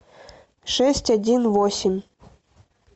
шесть один восемь